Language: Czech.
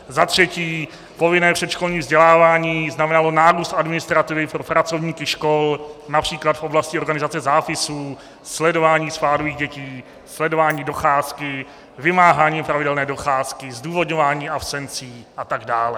Za třetí, povinné předškolní vzdělávání znamenalo nárůst administrativy pro pracovníky škol, například v oblasti organizace zápisů, sledování spádových dětí, sledování docházky, vymáhání pravidelné docházky, zdůvodňování absencí a tak dále.